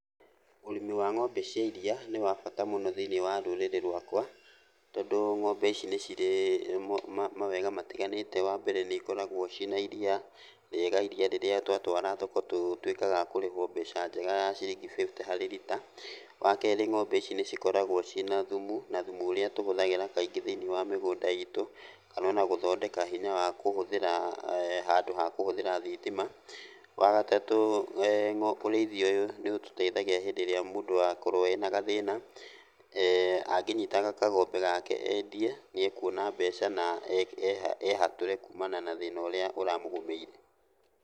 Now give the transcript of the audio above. Ũrĩmi wa ng'ombe cia iria nĩ wa bata mũno thĩiniĩ wa rũrĩrĩ rwakwa, tondũ ng'ombe ici nĩ cirĩ mawega matiganĩte. Wambere nĩikoragwo ciĩna iria rĩega, iria rĩrĩa twatwara thoko tũtuĩkaga a kũrĩhwo mbeca njega ya ciringi bĩbute harĩ lita. Wakerĩ ng'ombe ici nĩcikoragwo ciĩ na thumu, na thumu ũrĩa tũhũthagĩra kaingĩ thĩiniĩ wa mĩgũnda itũ, kana ona gũthondeka hinya wa kũhũthĩra handũ ha kũhũthĩra thitima. Wagatatũ ũrĩithia ũyũ nĩũtũteithagia hĩndĩ ĩrĩa mũndũ akorwo ena gathĩna, angĩnyitaga kagombe gake endie, nĩekuona mbeca na ehatũre kumana na thĩna ũrĩa ũramũgũmĩire.